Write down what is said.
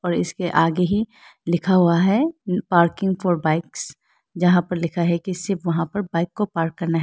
और इसके आगे ही लिखा हुआ है पार्किंग फॉर बाईक्स जहां पे लिखा है कि सिर्फ वहां पे बाइक को पार्क करना है।